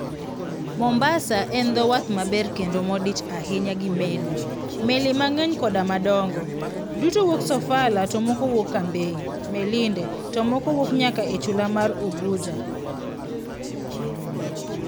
"Mombasa en dho wath maber kendo modich ahinya gi meli, meli mang'eny koda ma dongo, duto wuok Sofala to moko wuok Cambay, Melinde, to moko wuok nyaka e chula mar Unguja".